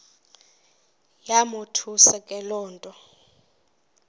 yamothusa le nto